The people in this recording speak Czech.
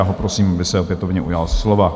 Já ho prosím, aby se opětovně ujal slova.